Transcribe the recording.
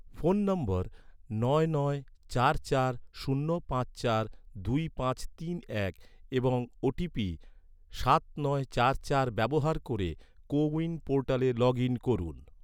phone number নয় নয় চার চার শূন্য পাঁচ চার দুই পাঁচ তিন এক এবং ওটিপি সাত নয় চার চার ব্যবহার ক’রে, কো উইন পোর্টালে লগ ইন করুন